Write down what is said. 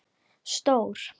Stór